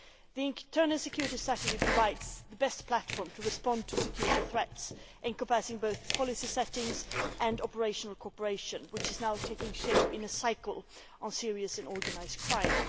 The Internal Security Strategy provides the best platform to respond to security threats, encompassing both policy setting and operational cooperation, which is now taking shape in a cycle on serious and organised crime.